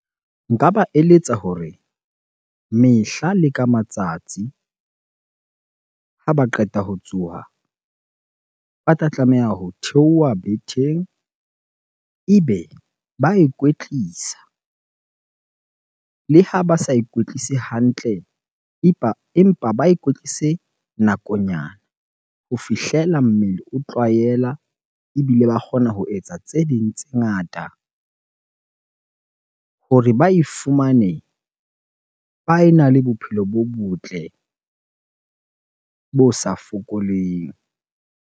Nka ba eletsa hore mehla le ka matsatsi ha ba qeta ho tsoha, ba tla tlameha ho theoha betheng ebe ba ikwetlisa. Le ha ba sa ikwetlise hantle empa ba ikwetlise nakonyana ho fihlela mmele o tlwaela ebile ba kgona ho etsa tse ding tse ngata hore ba e fumane ba ena le bophelo bo botle bo sa fokoleng.